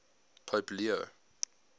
pope leo